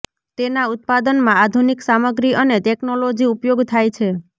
તેના ઉત્પાદનમાં આધુનિક સામગ્રી અને ટેકનોલોજી ઉપયોગ થાય છે